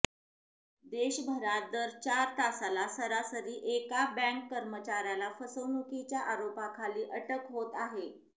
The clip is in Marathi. देशभरात दर चार तासाला सरासरी एका बँक कर्मचाऱ्याला फसवणुकीच्या आरोपाखाली अटक होत आहे